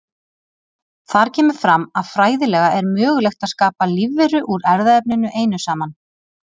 Þar kemur fram að fræðilega er mögulegt að skapa lífveru úr erfðaefninu einu saman.